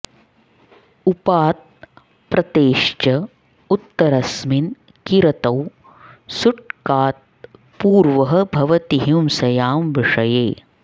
उपात् प्रतेश्च उत्तरस्मिन् किरतौ सुट् कात् पूर्वः भवति हिंसयां विषये